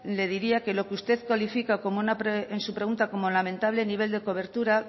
le diría que lo que usted solicita en su pregunta como lamentable nivel de cobertura